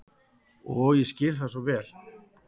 Og ég skil það svo vel.